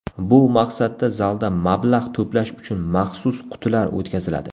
Bu maqsadda zalda mablag‘ to‘plash uchun maxsus qutilar o‘tkaziladi.